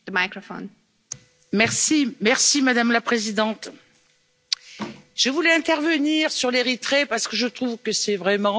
Madame la Présidente, je voulais intervenir sur l'Érythrée parce que je trouve que c'est vraiment la Corée du Nord de l'Afrique.